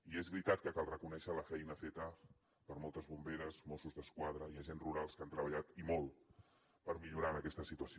i és veritat que cal reconèixer la feina feta per moltes bomberes mossos d’esquadra i agents rurals que han treballat i molt per millorar aquesta situació